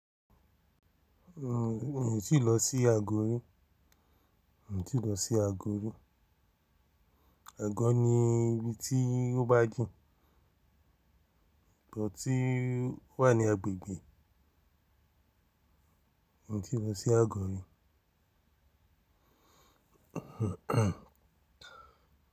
Un o ti lọ sí agọ̀ rí, un ti lọ sí agọ̀ orí. Ago ni ibi tí ó bá jìn, ibi tí wà ní agbègbè. N o ti lọ sí agọ̀ orí.